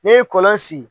Ne ye kɔlɔn sigi